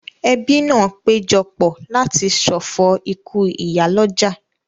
Ẹbí náà péjọ pọ̀ láti ṣọ̀fọ̀ ikú ìyálọ́jà